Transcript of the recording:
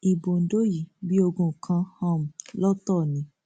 ibo ondo yìí bíi ogún kan um lọtọ ni